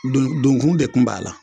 Don donkun de tun b'a la